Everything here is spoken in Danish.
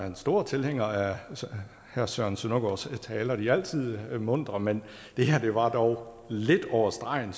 en stor tilhænger af herre søren søndergaards taler de er altid muntre men det her var dog lidt over stregen